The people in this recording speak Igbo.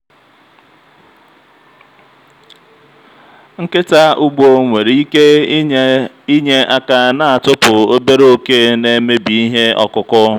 nkịta ugbo nwere ike inye inye aka na-atụpụ obere òké na-emebi ihe ọkụkụ.